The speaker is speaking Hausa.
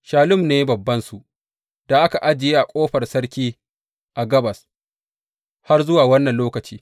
Shallum ne babbansu da aka ajiye a Ƙofar Sarki a gabas, har zuwa wannan lokaci.